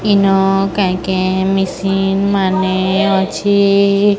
ଇନ କାଇଁ କେଁ ମିସିନ୍ ମାନେ ଅଛି।